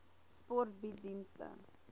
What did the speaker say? sport bied dienste